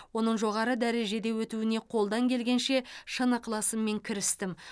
оның жоғары дәрежеде өтуіне қолдан келгенше шын ықыласыммен кірістім